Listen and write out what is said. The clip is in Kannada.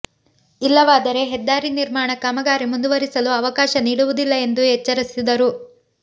ಇಲ್ಲವಾದರೆ ಹೆದ್ದಾರಿ ನಿರ್ಮಾಣ ಕಾಮಗಾರಿ ಮುಂದುವರಿಸಲು ಅವಕಾಶ ನೀಡುವುದಿಲ್ಲ ಎಂದು ಎಚ್ಚರಿಸಿದರು